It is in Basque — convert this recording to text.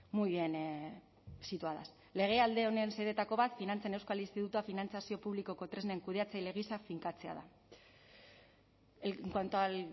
muy bien situadas legealdi honen xedeetako bat finantzen euskal institutua finantzazio publikoko tresnen kudeatzaile gisa finkatzea da en cuanto al